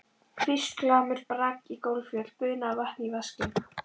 hvísl, glamur, brak í gólffjöl, buna af vatni í vaskinn.